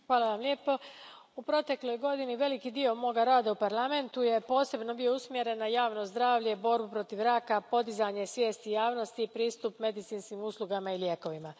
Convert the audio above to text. Poštovana predsjedavajuća, u protekloj godini veliki dio moga rada u Parlamentu posebno je bio usmjeren na javno zdravlje, borbu protiv raka, podizanje svijesti javnosti i pristup medicinskim uslugama i lijekovima.